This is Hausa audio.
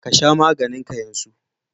Ka sha maganin ka yanzu!